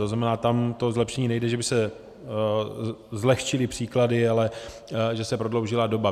To znamená, tam to zlepšení nejde, že by se zlehčily příklady, ale že se prodloužila doba.